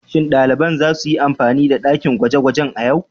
Shin daliban za su yi amfani da dakin gwaje-gwaje a yau?